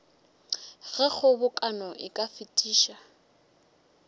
ge kgobokano e ka fetiša